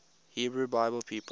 hebrew bible people